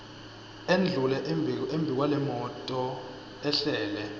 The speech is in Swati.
endlule embikwalemoto ehlele